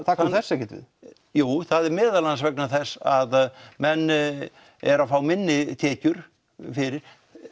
það kom þessu ekkert við jú meðal annars vegna þess að menn eru að fá minni tekjur fyrir